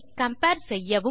compare செய்யவும்